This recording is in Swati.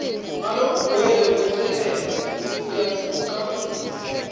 ngalokugcwele kwesekela kucaphuna